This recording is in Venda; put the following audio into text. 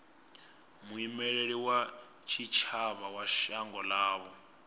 muimeli wa tshitshavha wa shango ḽavho